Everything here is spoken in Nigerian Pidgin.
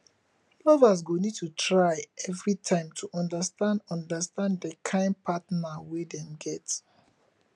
lovers go need to try everytime to understand understand di kind partner wey dem get